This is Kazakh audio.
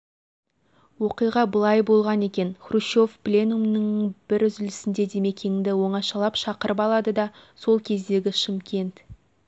оқиға былай болған екен хрущев пленумның бір үзілісінде димекеңды оңашалап шақырып алады да сол кездегі шымкент